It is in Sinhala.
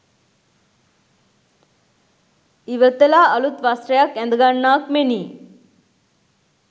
ඉවතලා අලුත් වස්ත්‍රයක් ඇඳගන්නාක් මෙනි.